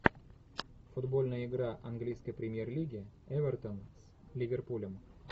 футбольная игра английской премьер лиги эвертон с ливерпулем